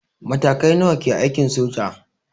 Matakai nawa ke aikin soja?